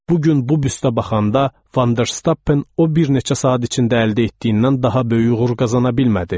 Bu gün bu büstə baxanda, Vanderstappen o bir neçə saat içində əldə etdiyindən daha böyük uğur qazana bilmədi.